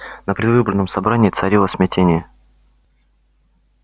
на предвыборном собрании царило смятение